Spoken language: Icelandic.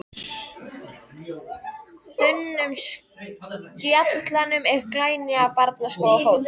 þunnum skallanum en glænýja barnaskó á fótum.